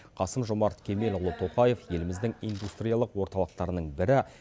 қасым жомарт кемелұлы тоқаев еліміздің индустриялық орталықтарының бірі